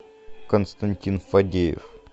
константин фадеев